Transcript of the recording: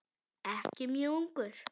Ekki mjög ungur.